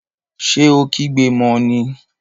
Ṣé o kígbe mọ ní?